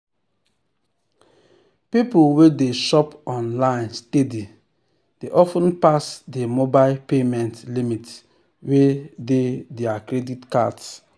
people wey dey shop online steady dey of ten pass di mobile payment limits wey dey dir credit cards